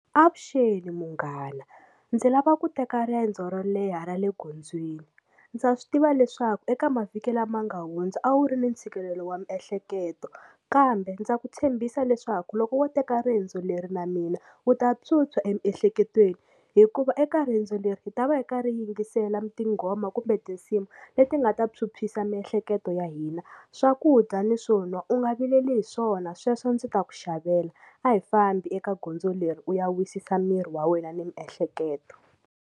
Avuxeni munghana ndzi lava ku teka riendzo ro leha ra le gondzweni ndza swi tiva leswaku eka mavhiki lama nga hundza a wu ri ni ntshikelelo wa miehleketo kambe ndza ku tshembisa leswaku loko wo teka riendzo leri na mina wu ta phyuphya emiehleketweni hikuva eka riendzo leri hi ta va hi karhi hi yingisela tinghoma kumbe tinsimu leti nga ta phyuphyisa miehleketo ya hina swakudya na swon'wa u nga vileli hi swona sweswo ndzi ta ku xavela a hi fambi eka gondzo leri u ya wisisa miri wa wena ni miehleketo.